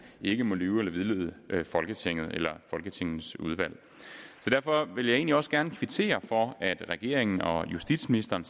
ikke må lyve for eller vildlede folketinget eller folketingets udvalg så derfor vil jeg egentlig også gerne kvittere for at regeringen og justitsministeren